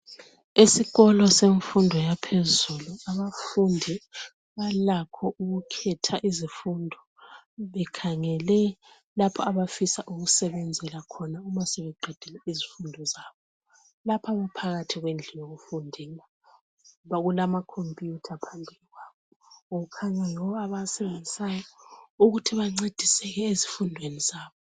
Esikolo semfundo yaphezulu abafundi balakho ukukhetha izifundo bekhangele lapho abafisa ukusebenzela khona uma sebeqedile izifundo zabo. Lapha baphakathi kwendlu yokufundela okulamakhompuyutha phambi kwabo kukhanya yiwo abawasebenzisayo ukuthi bancediseke ezifundweni zabo.